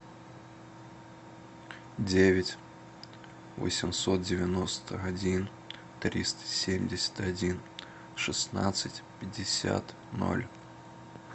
девять восемьсот девяносто один триста семьдесят один шестнадцать пятьдесят ноль